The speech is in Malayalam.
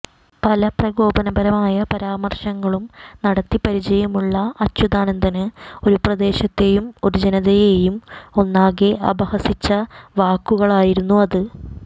പല പ്രകോപനപരമായ പരാമര്ശങ്ങളും നടത്തി പരിചയമുള്ള അച്യുതാനന്ദന് ഒരു പ്രദേശത്തെയും ഒരു ജനതയെയും ഒന്നാങ്കെ അപഹസിച്ച വാക്കുകളായിരുന്നു അത്